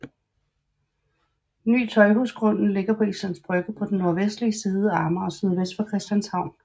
Ny Tøjhusgrunden ligger på Islands Brygge på den nordvestlige side af Amager sydvest for Christianshavn